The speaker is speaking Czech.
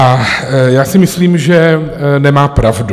A já si myslím, že nemá pravdu.